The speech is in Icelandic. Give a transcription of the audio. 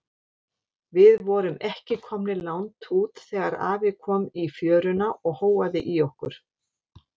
Við vorum ekki komnir langt út þegar afi kom í fjöruna og hóaði í okkur.